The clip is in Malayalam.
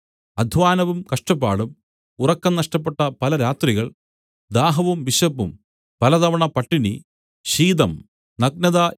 അദ്ധ്വാനവും കഷ്ടപ്പാടും ഉറക്കം നഷ്ടപ്പെട്ട പല രാത്രികൾ ദാഹവും വിശപ്പും പലതവണ പട്ടിണി ശീതം നഗ്നത